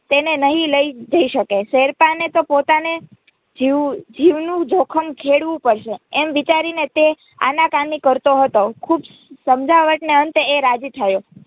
તેને નહીં લઇ જઈ શકે શેરપાને પોતાને જીવનું જોખમ ખેડવું પડશે એમ વિચારી તે આનાકાની કરતો હતો ખુબ સમજાવટને અંતે એ રાજી થયો